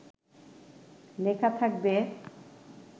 লেখা থাকবে